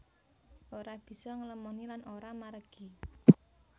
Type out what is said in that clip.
Ora bisa ngelemoni lan ora maregi